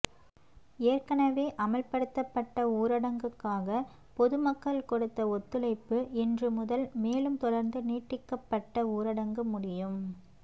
ஏற்கெனவே அமல்படுத்தப்பட்ட ஊரடங்குக்காக பொதுமக்கள் கொடுத்த ஒத்துழைப்பு இன்று முதல் மேலும் தொடர்ந்து நீட்டிக்கப்பட்ட ஊரடங்கு முடியும்